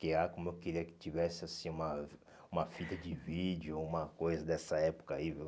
porque ah como eu queria que tivesse, assim, uma uma fita de vídeo, uma coisa dessa época aí, viu?